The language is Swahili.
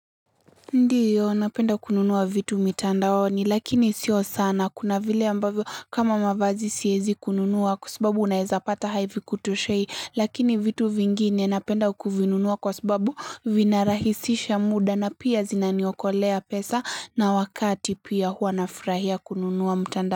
Ndiyo napenda kununuwa vitu mitandaoni, lakini sio sana kuna vile ambavyo kama mavazi siezi kununuwa kwa sababu unaeza pata havi kutoshei, lakini vitu vingine napenda kuvinunuwa kwa subabu vinarahisisha muda na pia zinaniokolea pesa na wakati pia hua nafrahia kununuwa mtandao.